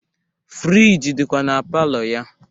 Friji dikwa na palọ ya.